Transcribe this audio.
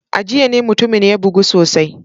A jiya ne mutumin ya bugu sosai.